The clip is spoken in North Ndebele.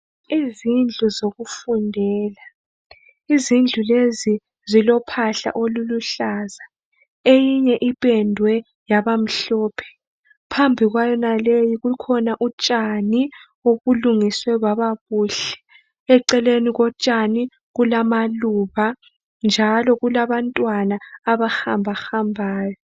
Izindlu zokufundela izindlu lezi zilophahla oluluhlaza eyinye iphendwe yaba mhlophe phambi kwayonaleyo kukhona utshani obulungiswe kwaba kuhle eceleni kotshani kulamaluba njalo kulabantwana abahamba hambayo.